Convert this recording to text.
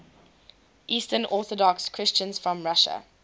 eastern orthodox christians from russia